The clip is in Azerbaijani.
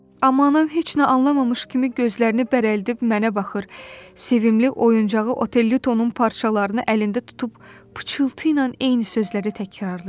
Amma anam heç nə anlamamış kimi gözlərini bərəldib mənə baxır, sevimli oyuncağı Otellitonun parçalarını əlində tutub pıçıltıyla eyni sözləri təkrarlayırdı.